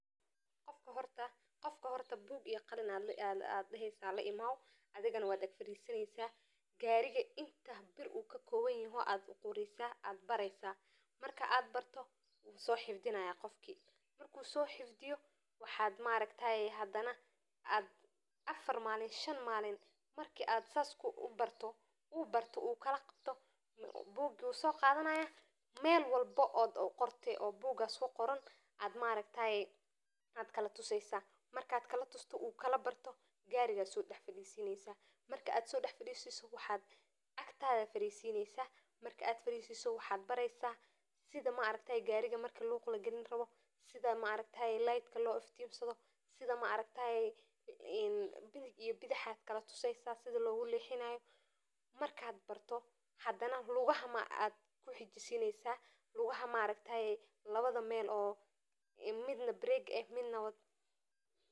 Qofka horta buk iyo qalin ayad laimow daheysa gariga wixisa daan aya qoreysa so xifdi ayad daheysa marka ad barto bugi ayu soqadana meel walbo ayad kalatuseysa oo agtada ayad farisineysa waxana bareysa sida nalka loshida iyo gadaal iyo horey loguwado oo waxa kuxejisineysa lugaha barega.